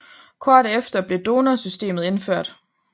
Kort efter blev donor systemet indført